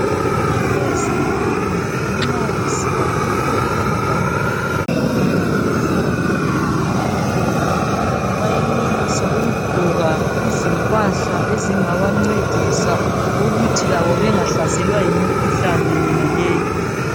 Abezempilo nxa besiya endaweni lapho okulemikhuhlane ekhona bayenelisa ukugqoka izimpahla ezingabancedisa ukuthi labo bengahlaselwa yimikhuhlane yonaleyi.